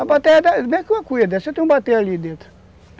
A bateia é meio que uma cuia, você tem ali dentro.